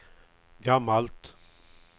gammalt